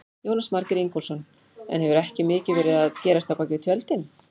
Jónas Margeir Ingólfsson: En hefur ekki mikið verið að gerast á bakvið tjöldin?